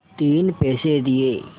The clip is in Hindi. तीन पैसे दिए